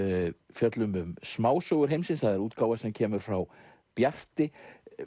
fjöllum um smásögur heimsins það er útgáfa sem kemur frá Bjarti